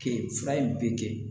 Kɛ fura in bɛ kɛ